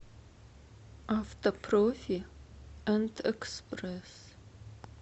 автопрофи энд экспресс